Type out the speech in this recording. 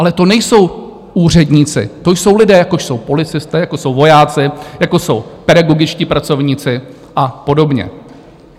Ale to nejsou úředníci, to jsou lidé, jako jsou policisté, jako jsou vojáci, jako jsou pedagogičtí pracovníci a podobně.